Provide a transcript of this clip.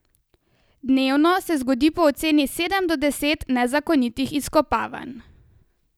Dnevno se zgodi po oceni sedem do deset nezakonitih izkopavanj.